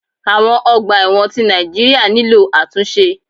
Awon ọgbà ẹ̀wọ̀n ti Nàìjíríà nílò àtúnṣe.